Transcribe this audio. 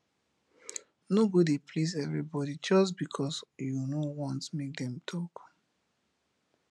no go dey please evribodi jus bikos yu no want mek dem tok